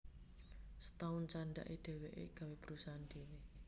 Setaun candhake dheweke gawé perusahaan dhewe